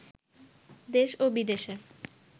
দেশ ও বিদেশের